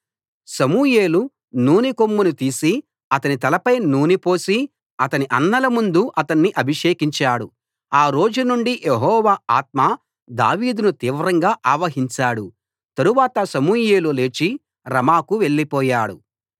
సమూయేలు నూనె కొమ్మును తీసి అతని తలపై నూనె పోసి అతని అన్నల ముందు అతణ్ణి అభిషేకించాడు ఆ రోజు నుండి యెహోవా ఆత్మ దావీదును తీవ్రంగా ఆవహించాడు తరువాత సమూయేలు లేచి రమాకు వెళ్లిపోయాడు